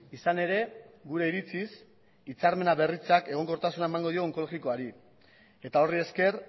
izan ere gure iritziz hitzarmena berritzeak egonkortasuna emango dio onkologikoari eta horri esker